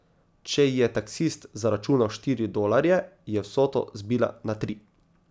Če ji je taksist zaračunal štiri dolarje, je vsoto zbila na tri.